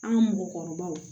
An ka mɔgɔkɔrɔbaw